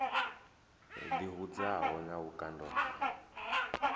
ḓi hudzaho na vhukando ho